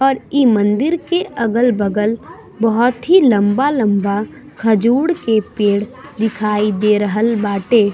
और इ मंदिर के अगल-बगल बहोत ही लम्बा-लम्बा खजूर के पेड़ दिखाई दे रहल बाटे।